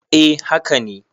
eh haka ne